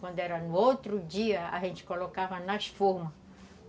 Quando era no outro dia, a gente colocava nas formas.